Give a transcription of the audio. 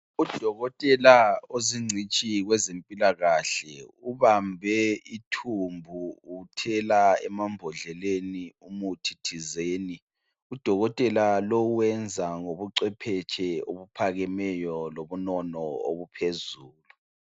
Udokotela ozingcitshi kwezempilakahle, ubambe ithumbu uthela emambodleleni umuthi thizeni. Udokotela lo wenza ngobucwephetshe obuphakemeyo lobunono obuphezulu.